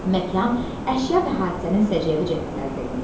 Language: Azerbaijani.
Məkan, əşya və hadisənin səciyyəvi cəhətləri təqdim edilir.